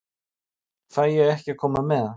Fæ ég ekki að koma með?